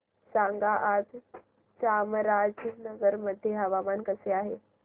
सांगा आज चामराजनगर मध्ये हवामान कसे आहे